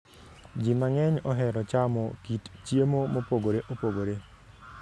Ji mang'eny ohero chamo kit chiemo mopogore opogore.